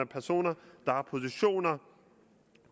personer der har positioner og